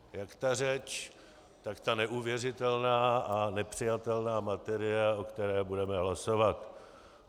Jak ta řeč, tak ta neuvěřitelná a nepřijatelná materie, o které budeme hlasovat.